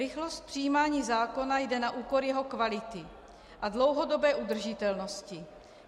Rychlost přijímání zákona jde na úkor jeho kvality a dlouhodobé udržitelnosti.